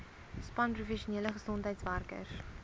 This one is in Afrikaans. span professionele gesondheidswerkers